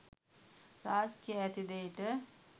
රාජ් කියා ඇති දේට